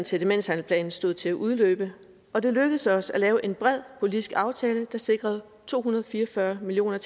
til demenshandleplanen stod til at udløbe og det lykkedes os at lave en bred politisk aftale der sikrede to hundrede og fire og fyrre million